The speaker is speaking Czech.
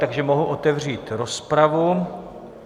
Takže mohu otevřít rozpravu.